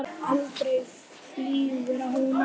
Aldrei flýgur hún aftur